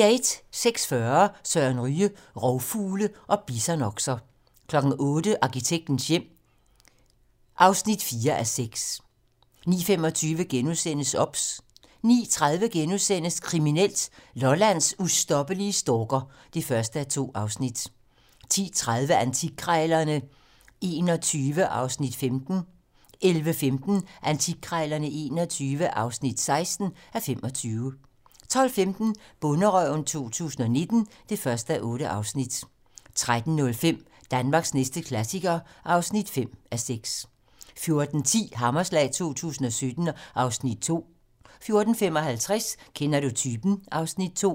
06:40: Søren Ryge: Rovfugle og bisonokser 08:00: Arkitektens hjem (4:6) 09:25: OBS * 09:30: Kriminelt: Lollands ustoppelige stalker (1:2)* 10:30: Antikkrejlerne XXI (15:25) 11:15: Antikkrejlerne XXI (16:25) 12:15: Bonderøven 2019 (1:8) 13:05: Danmarks næste klassiker (5:6) 14:10: Hammerslag 2017 (Afs. 2) 14:55: Kender du typen? (Afs. 2)